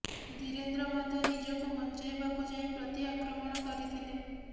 ଧୀରେନ୍ଦ୍ର ମଧ୍ୟ ନିଜକୁ ବଞ୍ଚାଇବାକୁ ଯାଇ ପ୍ରତି ଆକ୍ରମଣ କରିଥିଲେ